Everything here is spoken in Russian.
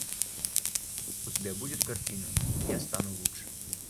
у тебя будет картина я стану лучше